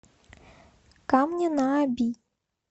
камня на оби